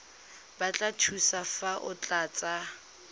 batla thuso fa o tlatsa